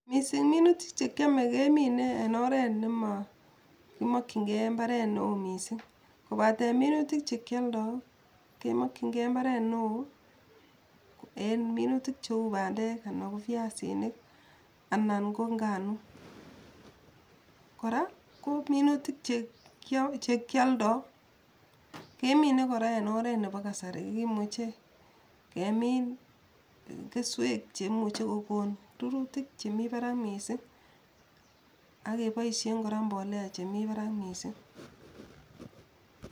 Misiing minutik chekiome kemine en oret nema kimakyinge mbaret neo misiing kobaten minutik chekioldo kemakyinge mbaret neo en minutik cheu pandek anan ko piasinik ana ko nganuuk, kora ko minutik chekioldo kemine kora en oret nepo kasari kimuche kemiin kesweek cheimuche kogon ruruutik chemi parak miising ak keboisien kora mbolea chemi parak misiing.